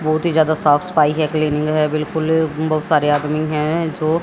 बहुत ही ज्यादा साफ सफाई है क्लिनिक है बिल्कुल बहुत सारे आदमी है जो--